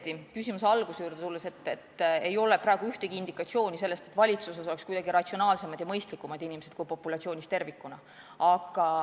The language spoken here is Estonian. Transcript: Kui küsimuse alguse juurde tulla, siis tõesti ei ole praegu ühtegi indikatsiooni sellest, et valitsuses oleks kuidagi ratsionaalsemad ja mõistlikumad inimesed kui populatsioonis tervikuna.